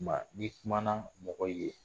Kuma ni kumana mɔgɔ ye